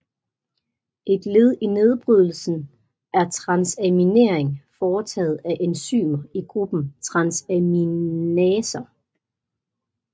Et led i nedbryddelsen er transaminering foretaget af enzymer i gruppen transaminaser